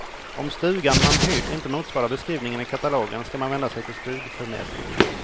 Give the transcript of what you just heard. Om stugan man hyrt inte motsvarar beskrivningen i katalogen ska man vända sig till stugförmedlingen.